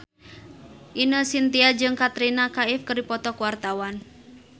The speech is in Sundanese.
Ine Shintya jeung Katrina Kaif keur dipoto ku wartawan